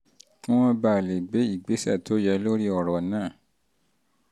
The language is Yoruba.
kí wọ́n bàa lè gbé ìgbésẹ̀ tó yẹ lórí ọ̀rọ̀ náà